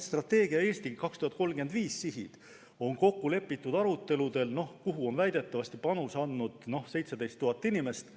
Strateegia "Eesti 2035" sihid on kokku lepitud aruteludel, kuhu on väidetavasti panuse andnud 17 000 inimest.